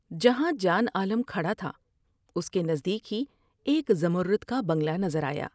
جہاں جان عالم کھڑا تھا اس کے نزدیک ہی ایک زمرد کا بنگلہ نظر آیا ۔